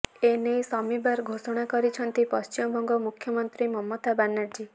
ଏନେଇ ଶନିବାର ଘୋଷଣା କରିଛନ୍ତି ପଶ୍ଚିମବଙ୍ଗ ମୁଖ୍ୟମନ୍ତ୍ରୀ ମମତା ବାନାର୍ଜୀ